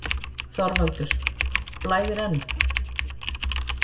ÞORVALDUR: Blæðir enn?